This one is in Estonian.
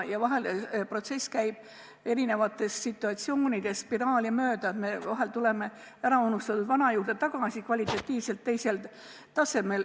Ja vahel käib protsess erinevates situatsioonides spiraali mööda, st me tuleme äraunustatud vana juurde tagasi kvalitatiivselt teisel tasemel.